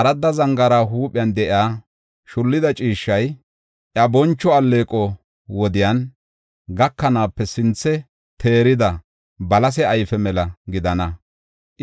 Aradda zangaara huuphen de7iya shullida ciishshay, iya boncho alleeqoy wodey gakanaape sinthe teerida balase ayfe mela gidana.